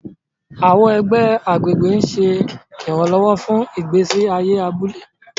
Àwọn ẹgbẹ́ agbègbè ń ṣe ìrànlọ́wọ́ fún ìgbésí ayé abúlé.